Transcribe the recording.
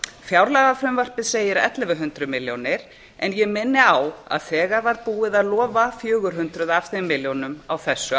fjárlagafrumvarpið segir ellefu hundruð milljónir en ég minni á að þegar var búið að lofa fjögur hundruð af þeim milljónum á þessu